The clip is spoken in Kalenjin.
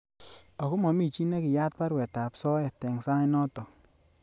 Akomomichi nekiyaat baruet ab soet eng sai notok.